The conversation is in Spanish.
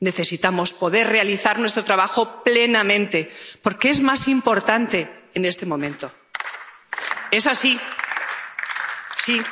Necesitamos poder realizar nuestro trabajo plenamente porque es más importante en este momento. Es así, sí.